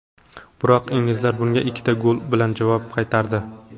Biroq inglizlar bunga ikkita gol bilan javob qaytardi.